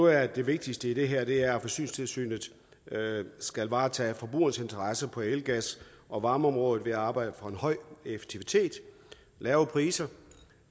at det vigtigste i det her er at forsyningstilsynet skal varetage forbrugernes interesser på el gas og varmeområdet ved at arbejde for en høj effektivitet lave priser